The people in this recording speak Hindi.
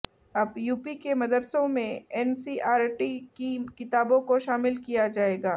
अब यूपी के मदरसों में एनसीईआरटी की किताबों को शामिल किया जाएगा